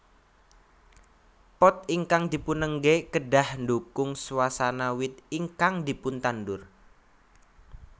Pot ingkang dipunenggé kedah ndukung swasana wit ingkang dipuntandur